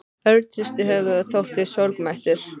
Örn hristi höfuðið og þóttist sorgmæddur.